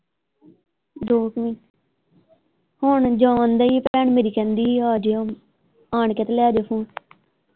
ਦੋ ਕੁ ਹੁਣ ਜਾਣ ਦੀ ਭੈਣ ਮੇਰੀ ਕਹਿੰਦੀ ਆ ਆਜਿਓ ਆਣ ਕੇ ਤੇ ਲੈਜੋ ਫੋਨ।